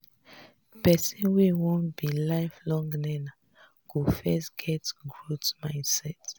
person wey wan be life long learner go first get growth mindset